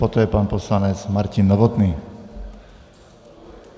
Poté pan poslanec Martin Novotný.